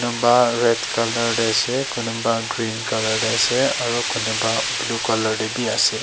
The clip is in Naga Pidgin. ba red colour tae ase kunuba green colour tae ase aro kunuba blue colour tae bi ase.